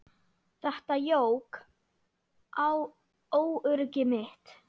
Þetta jók á óöryggi mitt.